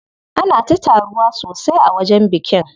Ana ta taruwa sosai a wajen bikin.